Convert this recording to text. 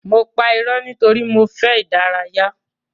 Mo pa ìró nítorí mo fẹ dárayá.